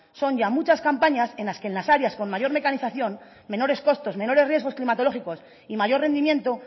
son ya muchas campañas en las que en las áreas con mayor mecanización menores costos menores riesgos climatológicos y mayor rendimiento